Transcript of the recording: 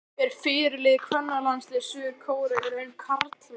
Er fyrirliði kvennalandsliðs Suður-Kóreu í raun karlmaður?